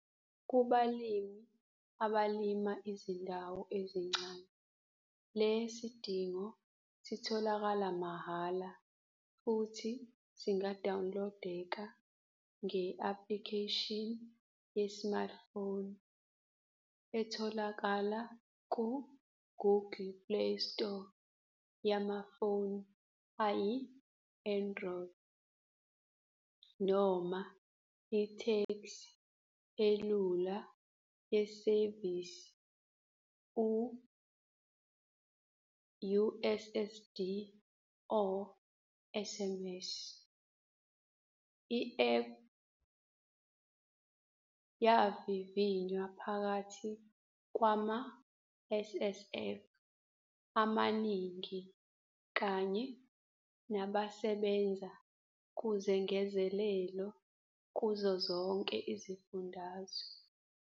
Kubalimi abalima izindawo ezincane le sidingo sitholakala mahhala futhi singadawunilodeka nge-aplikheshini ye-smartphone etholakala ku-Google Play Store yamafoni ayi-Androy noma itheksthi elula yesevisi u-USSD or SMS. I-app yavivinywa phakathi kwama-SSF amaningi kanye nabasebenza kuzengezelelo kuzozonke izifundazwe.